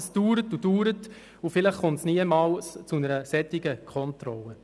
Das dauert und dauert und vielleicht kommt es nie zu einer solchen Kontrolle.